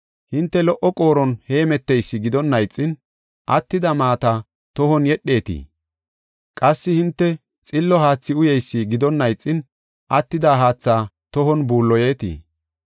Hinte lo77o qooron heemmeteysi gidonna ixin, attida maata tohon yedheetii? Qassi hinte xillo haathi uyeysi gidonna ixin, attida haatha tohon buulloyetii?